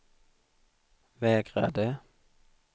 vägrade